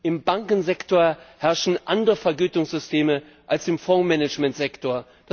Im Bankensektor herrschen andere Vergütungssysteme als im Fondsmanagementsektor.